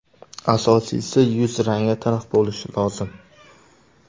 Asosiysi, yuz rangi tiniq bo‘lishi lozim.